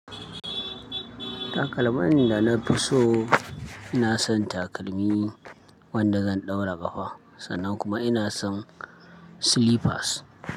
Takalman da na fi so, ina son takalmi wanda zan ɗaura ƙafa sannan kuma ina son silipas.